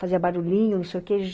Fazia barulhinho, não sei o que.